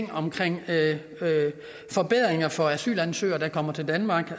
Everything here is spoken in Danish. forbedringer for asylansøgere der kommer til danmark